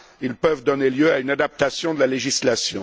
Ils peuvent donner lieu à une adaptation de la législation.